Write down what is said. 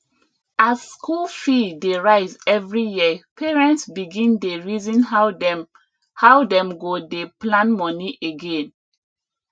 as school fee dey rise every year parents begin dey reason how dem how dem go dey plan money again